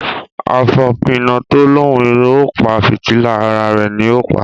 Afopina to lòún o pa fìtílà, àrà rẹ ní o pa.